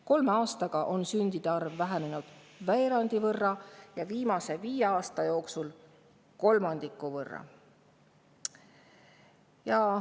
Kolme aastaga on sündide arv vähenenud veerandi võrra ja viimase viie aasta jooksul kolmandiku võrra.